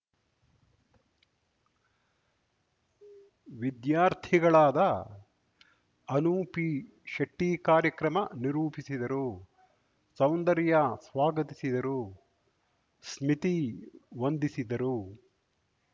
ವಿದ್ಯಾರ್ಥಿಗಳಾದ ಅನು ಪಿಶೆಟ್ಟಿಕಾರ್ಯಕ್ರಮ ನಿರೂಪಿಸಿದರು ಸೌಂದರ್ಯ ಸ್ವಾಗತಿಸಿದರು ಸ್ಮಿತಿ ವಂದಿಸಿದರು